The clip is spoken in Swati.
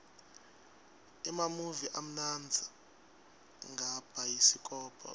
emamuvi amnandza ngabhayisikobho